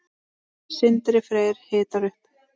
Sindri Freyr hitar upp.